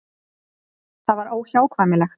Það var óhjákvæmilegt.